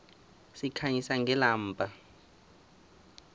sikhanyisa ngelamba